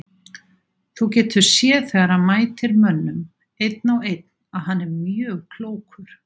Þú getur séð þegar hann mætir mönnum einn á einn að hann er mjög klókur.